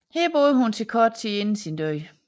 Her boede hun til kort tid inden sin død